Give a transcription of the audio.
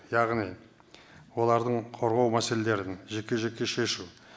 яғни олардың қорғау мәселелерін жеке жеке шешу